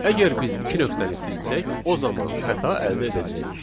Əgər biz iki nöqtəni silsək, o zaman xəta əldə edəcəyik.